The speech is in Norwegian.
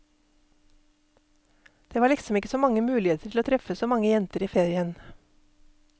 Det var liksom ikke så mange muligheter til å treffe så mange jenter i ferien.